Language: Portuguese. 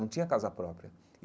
Não tinha casa própria.